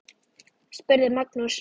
spurði Magnús.